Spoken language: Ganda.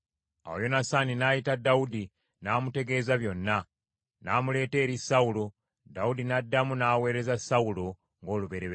Awo Yonasaani n’ayita Dawudi, n’amutegeeza byonna. N’amuleeta eri Sawulo, Dawudi n’addamu n’aweereza Sawulo ng’olubereberye.